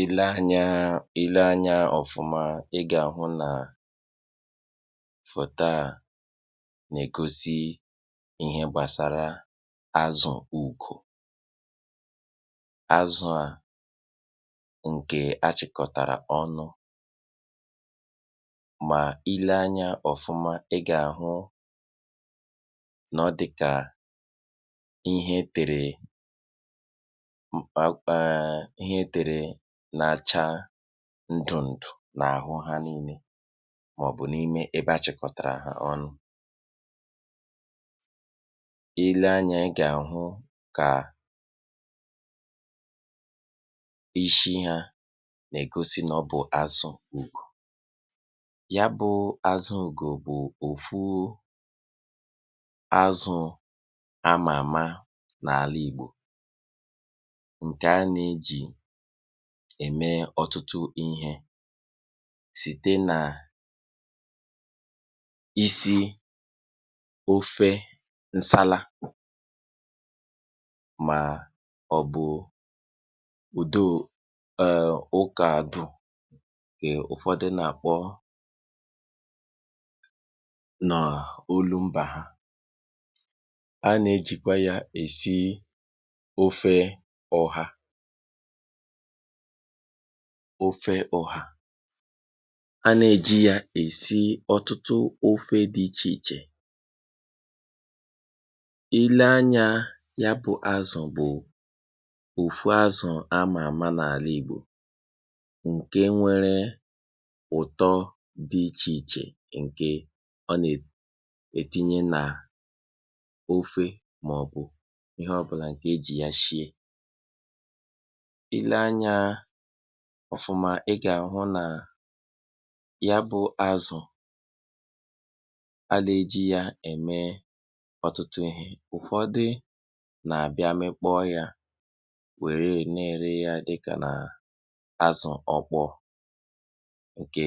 Ịle anya ịle anya ọ̀fụma ị gà-àhụ nà fòto a nà-ègosi ihe gbàsara azụ̀ ukù. Azụ̀ a ǹkè achị̀kọ̀tàrà ọnụ mà ịle anya ọ̀fụma, ị gà-àhụ nọ ọdịkà ihe e tèrè um ihe e tèrè na-acha ndùǹdù n’àhụ ha niile mà ọ̀ bụ̀ n’ime ebe achịkọ̀tàrà ha ọnụ. ịlee anya ị gà àhụ kà ishi ha na-egosi n’ọ̀ bụ̀ azụ̀ ukù. Ya bụ̀ azụ̀ ukù bụ̀ ofu azụ̀ ama ama n’àla ìgbò nke a na-eji ème ọ̀tụtụ ihė sìte nà isi ofe nsala mà ọ̀ bụ̀ ùdo um okė àdụ nkè ụ̀fọdị nà-àkpọ nà olu mbà ha. A na-ejìkwa yȧ èsi ofe ọhà ofe ọhà. A nà-èji yȧ èsi ọtụtụ ofe dị ichè ichè. ịle anyȧ, ya bụ̇ azụ̀ bụ̀ ofu azụ̀ a mà àma n’àla ìgbò ǹke nwere ụ̀tọ dị ichè ichè ǹke ọ nà-ètinye nà ofe mà ọ̀ bụ̀ ihe ọbụ̀là ǹkè ejì ya shìe. Ile anya ọ̀fụma, ị gà àhụ nà ya bụ azụ̀ a là eji yȧ ème ọtụtụ ihė. Ụ̀fọdị nà-àbịa mikpọọ yȧ, wère na-ere ya dịkà nà azụ̀ ọ̀kpọ ǹkè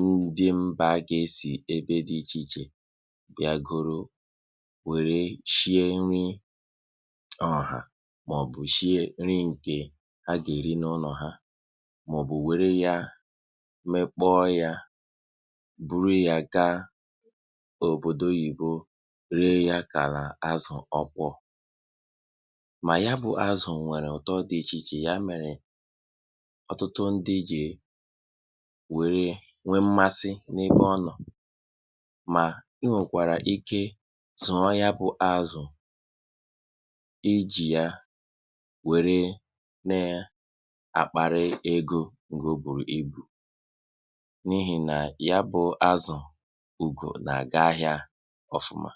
ndị mba gà-esi ebe dị ichè ichè bia goro wère shie nri ọha mà ọ̀ bụ̀ shie nri nke a ga-eri n’ ulọ ha mà ọ̀ bụ̀ wère ya mekpọ ya buru ya gaa òbòdo oyìbo ree ya kàla azụ̀ ọkpọ. Mà ya bụ̇ azụ̀ nwèrè ụ̀tọ dị̀ ichìchè ya mèrè ọ̀tụtụ ndị jè wère nwee mmasị n’ebe ọ nọ̀ mà i nwèkwàrà ike zuọ ya bụ̇ azụ̀ i jì ya were na e àkpàrị̀e egȯ ngọ o bùrù ibù n’ihì nà ya bụ̇ azụ̀ ùgò nà-àga ahịȧ ọfụma.